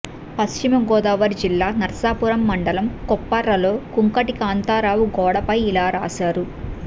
పశ్చిమగోదావరి జిల్లా నర్సాపురం మండలం కొప్పర్రలో కుంకటి కాంతారావు గోడపై ఇలా రాశారు